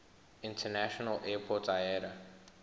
international airport iata